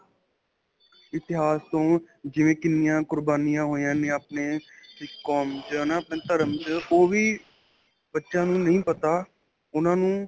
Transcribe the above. ਇਤਿਹਾਸ ਤੋਂ ਜਿਵੇਂ ਕਿੰਨੀਆ ਕੁਰਬਾਨੀਆਂ ਹੋਇਆ ਨੇ ਆਪਣੇ ਕੋਮ 'ਚ ਆਪਣੇ ਧਰਮ ਵਿੱਚ ਓਹ ਵੀ ਬੱਚਿਆਂ ਨੂੰ ਨਹੀਂ ਪਤਾ ਉਨ੍ਹਾਂ ਨੂੰ.